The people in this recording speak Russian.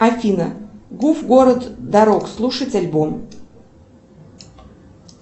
афина гуф город дорог слушать альбом